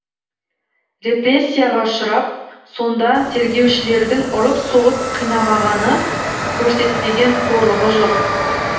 репресияға ұшырап сонда тергеушілердің ұрып соғып қинамағаны көрсетпеген қорлығы жоқ